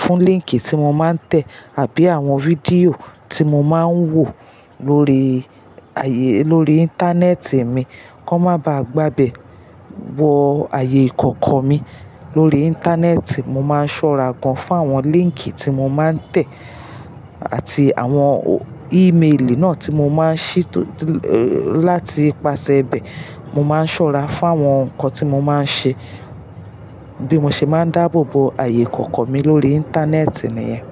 fún líńkì tí mo máa ń tẹ̀ àbí àwọn video tí mo máa ń wò lórí ayé, lórí Íńtánẹ́ẹ̀tì mi kó má ba à gba bẹ̀ wọ ayé ìkọ̀kọ̀ mi. Lórí Íńtánẹ́ẹ̀tì mo máa ń ṣọ́ra gan fún àwọn líńkì tí mo máa ń tẹ̀ àti àwọn ímeèlì náà tí mo máa ń ṣí tólá ti ipasẹ̀ bẹ̀. Mo máa ń ṣọ́ra fún àwọn nǹkan tí mo máa ń ṣe. Bí mo ṣe máa ń dáàbò bo ayé ìkọ̀kọ̀ mi lórí Íńtánẹ́ẹ̀tì nìyẹn.